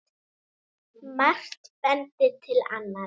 Margt bendir til annars.